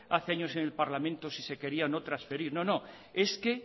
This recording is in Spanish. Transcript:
hace años en el parlamento si se quería o no transferir no no es que